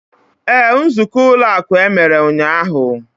Ee, nzukọ ụlọ akụ emere ụnyaahụ.